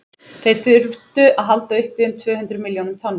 þeir þyrftu að halda uppi um tvö hundruð milljón tonnum